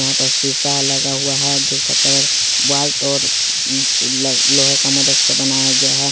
यहां पर शीशा लगा हुआ है जिसका कलर व्हाइट और लोहे का मदद से बनाया गया है ।